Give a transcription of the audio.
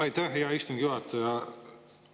Aitäh, hea istungi juhataja!